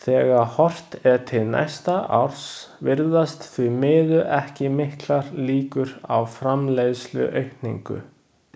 Þegar horft er til næsta árs virðast því miður ekki miklar líkur á framleiðsluaukningu.